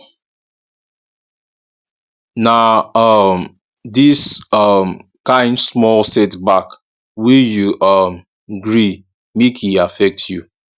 na um dis um kain small setback wey you um gree make e affect you